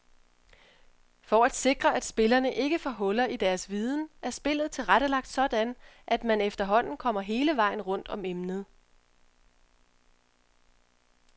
For at sikre at spillerne ikke får huller i deres viden er spillet tilrettelagt sådan at man efterhånden kommer hele vejen rundt om emnet.